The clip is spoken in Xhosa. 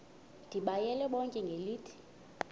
ndibayale bonke ngelithi